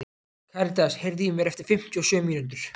Karítas, heyrðu í mér eftir fimmtíu og sjö mínútur.